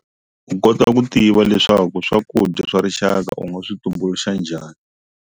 U kota ku tiva leswaku swakudya swa rixaka u nga swi tumbuluxa njhani.